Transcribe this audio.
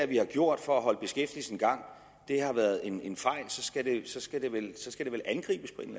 vi har gjort for at holde beskæftigelsen i gang har været en en fejl og så skal det skal det vel angribes på en